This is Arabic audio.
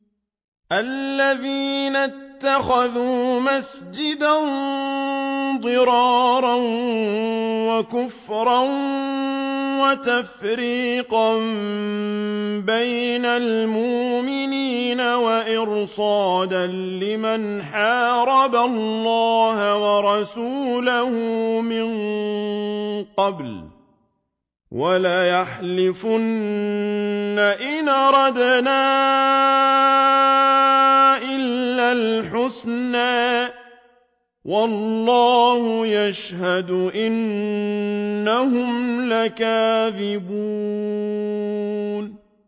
وَالَّذِينَ اتَّخَذُوا مَسْجِدًا ضِرَارًا وَكُفْرًا وَتَفْرِيقًا بَيْنَ الْمُؤْمِنِينَ وَإِرْصَادًا لِّمَنْ حَارَبَ اللَّهَ وَرَسُولَهُ مِن قَبْلُ ۚ وَلَيَحْلِفُنَّ إِنْ أَرَدْنَا إِلَّا الْحُسْنَىٰ ۖ وَاللَّهُ يَشْهَدُ إِنَّهُمْ لَكَاذِبُونَ